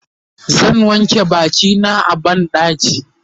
zan wanke bakina a banɗaki